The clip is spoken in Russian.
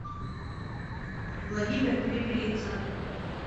владимир перепелицын